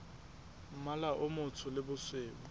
mmala o motsho le bosweu